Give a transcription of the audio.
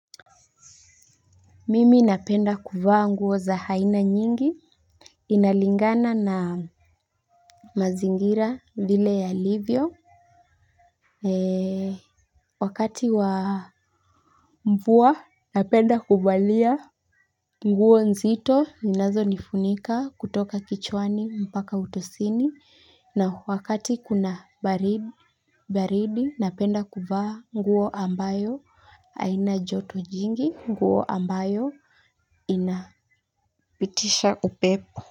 Mimi napenda kuvaa nguo za aina nyingi inalingana na mazingira vile yalivyo wakati wa mvua napenda kuvalia nguo nzito ninazo nifunika kutoka kichwani mpaka utosini na wakati kuna baridi napenda kuvaa nguo ambayo haina joto jingi nguo ambayo inapitisha upepo.